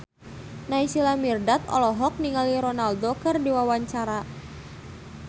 Naysila Mirdad olohok ningali Ronaldo keur diwawancara